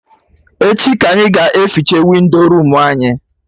Echi ka anyị ga eficha windo room anyị